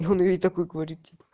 и он ей такой говорит типа